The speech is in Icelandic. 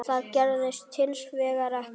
Það gerðist hins vegar ekki.